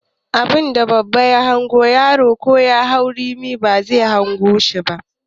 Abunda babba ya hango ya na zaune yaro ko ya hau bishiya ba zai gani ba